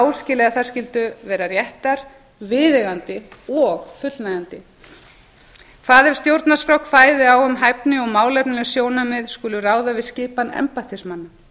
áskilið að þær skyldu vera réttar viðeigandi og fullnægjandi hvað ef stjórnarskrá kvæði á um að hæfni og málefnaleg sjónarmið skuli ráða við skipan embættismanna